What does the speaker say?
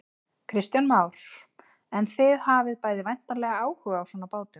Kristján Már: En þið hafið bæði væntanlega áhuga á svona bátum?